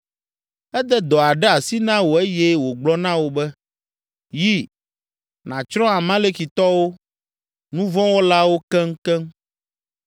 Ede dɔ aɖe asi na wò eye wògblɔ na wò be, ‘Yi, nàtsrɔ̃ Amalekitɔwo, nu vɔ̃ wɔlawo, keŋkeŋ.’